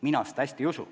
Mina seda hästi ei usu.